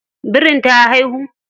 Birin ta haihu?